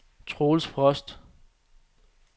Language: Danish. Troels Frost